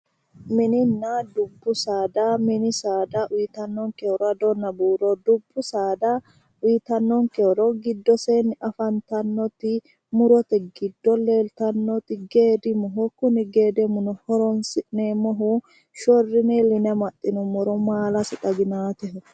Mininna dubbu saada. Mini saada uyitannonke horo adonna buuro. Dubbu saada uyitannonke horo giddoseenni afantannoti murote giddo leeltannoti geedimoho. Kuni geedimuno horoonsi'neemmohu shorrine iilline amaxxinummoro maalasi xaginaateho.